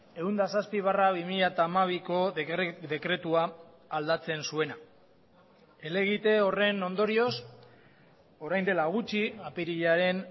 ehun eta zazpi barra bi mila hamabiko dekretua aldatzen zuena helegite horren ondorioz orain dela gutxi apirilaren